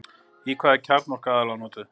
í hvað er kjarnorka aðallega notuð